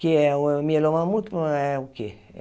Que é o mieloma múltiplo, é o quê?